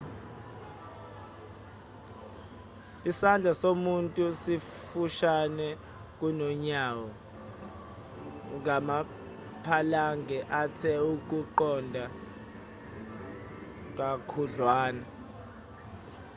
isandla somuntu sifushane kunonyawo ngama-phalange athe ukuqonda kakhudlwana